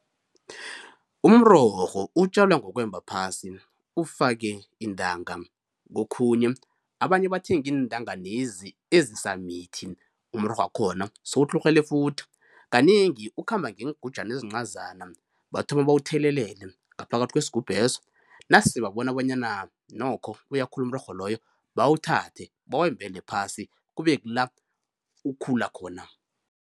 Umrorho utjwala ngokwemba phasi ufake iintanga, kokhunye abanye bathenga iintanga lezi ezisamithi umrorhwakhona sewutlhurhele futhi, kanengi ukhamba ngeengujana ezincazana bathome bawuthelelele ngaphakathi kwesigubheso nase babona bonyana nokho uyakhula umrorho loyo bawuthathe bawembele phasi kube kula ukhula khona.